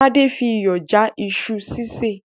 Tádé fi iyọ̀ já iṣu sísè